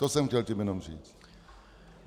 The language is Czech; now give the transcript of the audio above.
To jsem chtěl tím jenom říct.